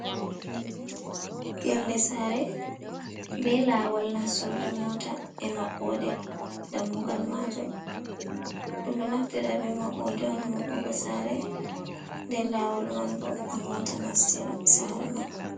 Yonde sare be lawol nastorde mota e mabbode dammugal majum, ɗum ɗo naftira be maɓɓoɗe on ha maɓugo sare, den lawol man bo ha mota nastira sare man.